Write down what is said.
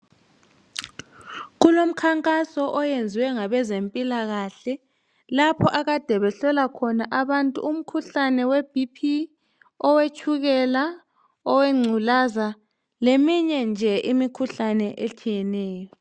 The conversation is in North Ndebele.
Kulomkhankaso oyenzwe ngabezempilakahle lapho akade behlola khona abantu umkhuhlane weBP, owetshukela, owengculaza leminye nje imikhuhlane etshiyeneyo.